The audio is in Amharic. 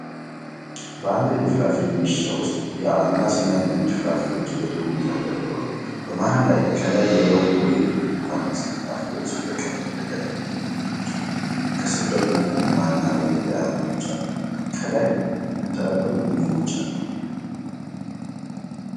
በአንድ የፍራፍሬ መሸጫ ውስጥ አናናስና ሌሎች ፍራፍሬዎች በጥሩ ሁኔታ ተደርድረዋል። በመሃል ላይ፣ ከላይ የሎሚ ወይም ብርቱካን መሰል ፍራፍሬዎች በቀለም ደረጃ ተለይተው ተከማችተዋል። ከስር ደግሞ ጎማና በዙሪያው አናናሶች አሉ። ከላይ የተንጠለጠሉ ሙዝዎችም አሉ።